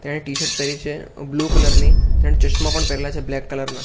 તેણે ટીશર્ટ પેહરી છે બ્લુ કલર ની તેણે ચશ્મા પણ પહેરેલા છે બ્લેક કલર ના.